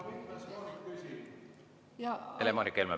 Helle-Moonika Helme ja peale seda võtan.